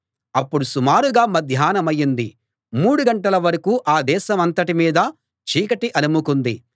అప్పుడు సుమారుగా మధ్యాహ్నమైంది మూడు గంటల వరకూ ఆ దేశమంతటి మీదా చీకటి అలముకుంది